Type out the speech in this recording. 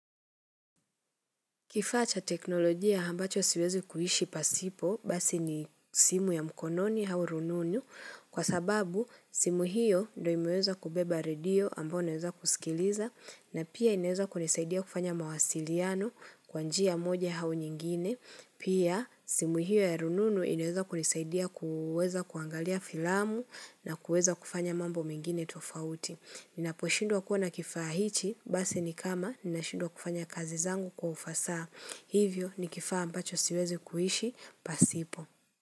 Kifaa cha teknolojia ambacho siwezi kuishi pasipo, basi ni simu ya mkononi au rununu, kwa sababu simu hio ndio imeweza kubeba redio ambayo naweza kusikiliza na pia inaweza kunisaidia kufanya mawasiliano kwa njia moja au nyingine. Pia simu hiyo ya rununu ineweza kunisaidia kuweza kuangalia filamu na kuweza kufanya mambo mengine tofauti. Ninaposhindwa kuwa kifaa hichi, basi ni kama ninashindwa kufanya kazi zangu kwa ufasaha. Hivyo ni kifaa ambacho siwezi kuishi, pasipo.